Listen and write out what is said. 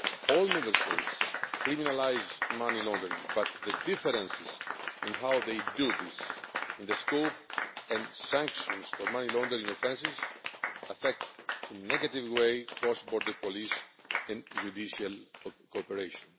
All Member States criminalise money laundering but the differences in how they do this, in the scope and sanctions for money laundering offences, affect in a negative way cross border police and judicial cooperation.